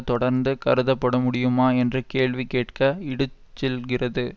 தொடர்ந்து கருதப்படமுடியுமா என்று கேள்வி கேட்க இடுச்செல்கிறது